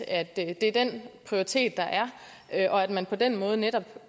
at det er den prioritet der er og at man på den måde netop